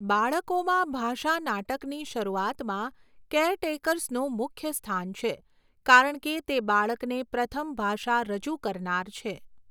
બાળકોમાં ભાષા નાટકની શરૂઆતમાં કેરટેકર્સનું મુખ્ય સ્થાન છે, કારણ કે તે બાળકને પ્રથમ ભાષા રજૂ કરનાર છે.